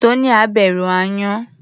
Tonia bẹ̀rù aáyán.